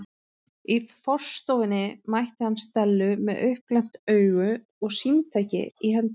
Í forstofunni mætti hann Stellu með uppglennt augu og símtæki í hendinni.